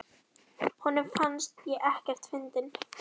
Honum fannst ég ekkert fyndin.